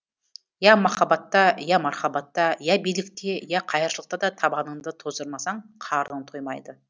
я махаббатта я мархабатта я билікте я қайыршылықта да табаныңды тоздырмасаң қарының тоймайды